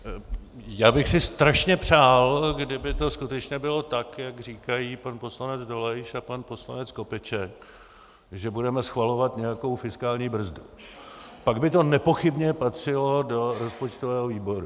Já bych si strašně přál, kdyby to skutečně bylo tak, jak říkají pan poslanec Dolejš a pan poslanec Skopeček, že budeme schvalovat nějakou fiskální brzdu, pak by to nepochybně patřilo do rozpočtového výboru.